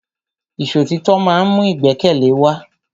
Ìṣọ̀títọ́ ma ń mú ìgbẹ́kẹ̀lé wa.